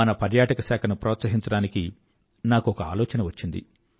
మన పర్యాటక శాఖను ప్రోత్సహించడానికి నాకొక ఆలోచన వచ్చింది